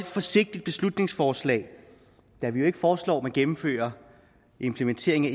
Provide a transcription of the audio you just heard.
forsigtigt beslutningsforslag da vi ikke foreslår at man gennemfører implementering af